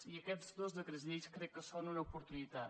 i aquests dos decrets llei crec que en són una oportunitat